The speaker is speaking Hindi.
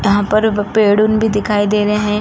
यहाँ पर पेड़ भी दिखाई दे रहे हैं।